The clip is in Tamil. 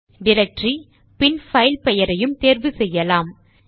டைரக்டரி பின் பைல் பெயரையும் தேர்வு செய்யலாம்